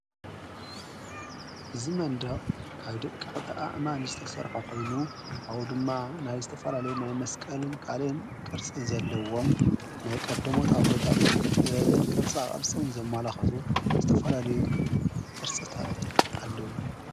እዝ መንድቕ ካብ ደቂ ቕቲኣእማን ዝተሠርሖ ኾይኑ ኣዉ ድማ ናይ ዝተፈላለዩ ናይ መስቀልን ቃልን ቅርጽ ዘለዎም ናይ ቐደሞት ኣቦታት ጥበብን ቅርጻ ቕርጽን ዘማላኸሱ ዝተፈለለዩ ቅርጽታት ኣለዎ።